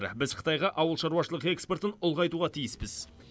біз қытайға ауылшаруашылық экспортын ұлғайтуға тиіспіз